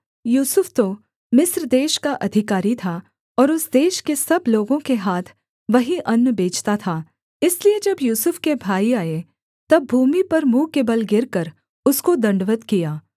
यूसुफ तो मिस्र देश का अधिकारी था और उस देश के सब लोगों के हाथ वही अन्न बेचता था इसलिए जब यूसुफ के भाई आए तब भूमि पर मुँह के बल गिरकर उसको दण्डवत् किया